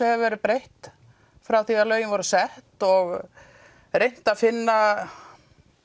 hefur verið breytt frá því lögin voru sett og reynt að finna